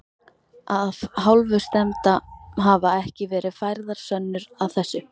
Af hálfu stefnda hafa ekki verið færðar sönnur að þessu.